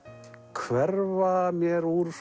hverfa mér úr